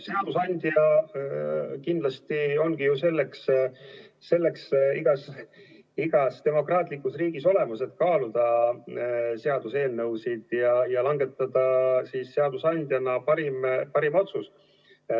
Seadusandja kindlasti ongi ju selleks igas demokraatlikus riigis olemas, et kaaluda eelnõusid ja langetada parimad otsused.